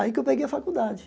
Aí que eu peguei a faculdade.